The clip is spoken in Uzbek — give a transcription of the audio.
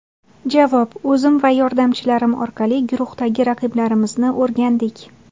Javob: O‘zim va yordamchilarim orqali guruhdagi raqiblarimizni o‘rgandik.